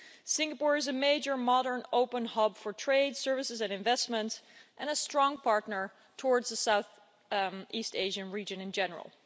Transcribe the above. Singapore is a major modern open hub for trade services and investment and a strong partner in the south east Asian region in general.